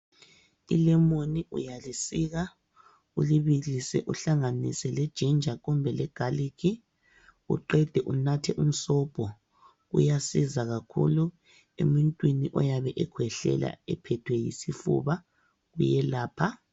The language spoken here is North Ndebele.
Ilemoni uyalisika ulibilise uhlanganise lejinja kumbe legalikhi, uqede unathe umsobho uyasiza kakhulu emuntwini oyabe ekhwehlela ephethwe yisifuba uyelapha.